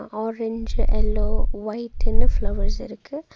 Orange yellow ஒயிட்ன்னு flowers இருக்கு.